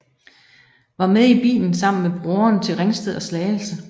Var med i bilen sammen med broren til Ringsted og Slagelse